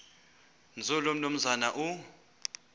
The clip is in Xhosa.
nzulu umnumzana u